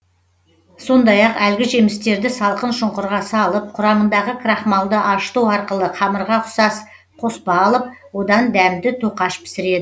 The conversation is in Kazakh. сондай ақ әлгі жемістерді салқын шұңқырға салып құрамындағы крахмалды ашыту арқылы қамырға ұқсас қоспа алып одан дәмді тоқаш пісіред